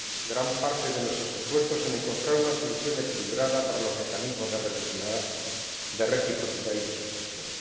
gran parte de nuestros esfuerzos en encontrar una solución equilibrada para los mecanismos de reciprocidad y de suspensión.